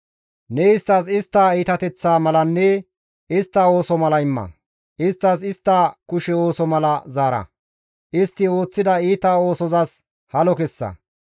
Ne isttas istta iitateththaa malanne istta ooso mala imma; isttas istta kushe ooso mala zaara; istti ooththida iita oosozas halo kessa.